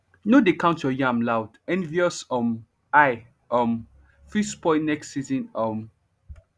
no dey count your yam loud envious um eye um fit spoil next season um